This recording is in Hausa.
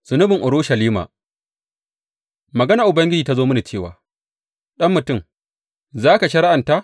Zunubin Urushalima Maganar Ubangiji ta zo mini cewa, Ɗan mutum, za ka shari’anta ta?